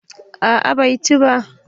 A'a bai ci ba